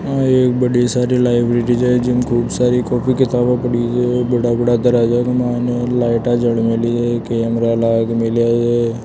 यहा एक बड़ी सारी लाइब्रेरी छे जिमे खूब सारी कॉपी किताबे पड़ी छे बड़ा बड़ा दरवाजा के मायने लाईटा जल मेली छे कैमरा लागमेलिया छे।